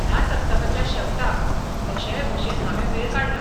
ह्या सप्तकाच्या शेवटाक कशेय भशेन हांवें वेळ काडला.